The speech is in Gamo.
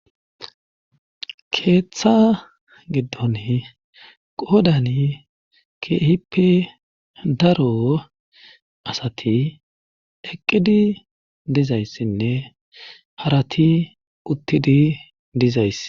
keeththa giddon qoodani keehippe daro asati eqqidi dizayssinne harati uttidi dizayssi